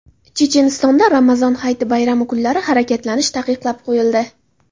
Chechenistonda Ramazon Hayiti bayrami kunlari harakatlanish taqiqlab qo‘yildi.